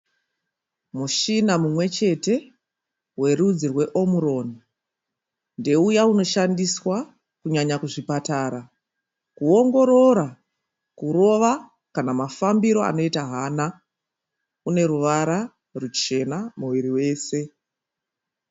Mushina mumwe chete werudzi rwe OMRON ndeuya unoshandiswa kunyanya kuzvipatara kuwongorora kurova kana mafambiro anoita hana une ruvara ruchena muviri wese.